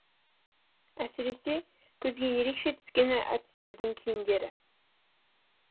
әсіресе көзге ерекше түскені әртістердің киімдері